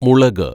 മുളക്